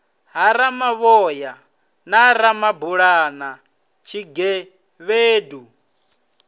ha ramavhoya na ramabulana tshigevhedu